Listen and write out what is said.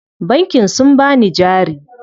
Bankin sun bani jari.